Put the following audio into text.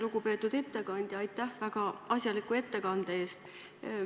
Lugupeetud ettekandja, aitäh väga asjaliku ettekande eest!